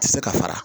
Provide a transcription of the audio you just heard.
Tɛ se ka fara